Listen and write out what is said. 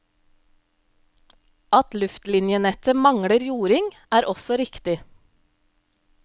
At luftlinjenettet mangler jording, er også riktig.